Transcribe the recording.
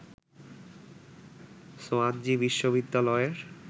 Swansea বিশ্ববিদ্যালয়ের